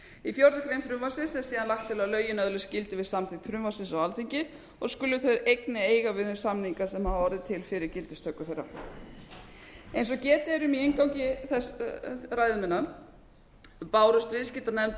í fjórða grein frumvarpsins er síðan lagt til að lögin öðlist gildi við samþykkt frumvarpsins á alþingi og skulu þau einnig eiga við um þá samninga sem hafa orðið til fyrir gildistöku þeirra eins og getið er um í inngangi ræðu minnar bárust viðskiptanefnd